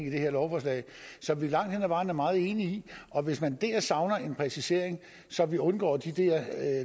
her lovforslag som vi langt hen ad vejen er meget enige i og hvis man der savner en præcisering så vi undgår de der